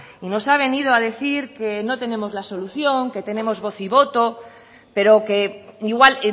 y nos ha venido a decir que no tenemos la solución que tenemos voz y voto pero que igual